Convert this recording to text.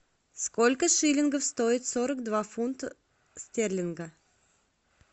сколько шиллингов стоит сорок два фунта стерлинга